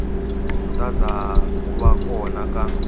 khutaza ku va kona ka